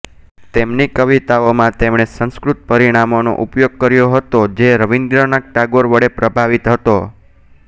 તેમની કવિતાઓમાં તેમણે સંસ્કૃત પરિમાણોનો ઉપયોગ કર્યો હતો જે રવિન્દ્રનાથ ટાગોર વડે પ્રભાવિત હતો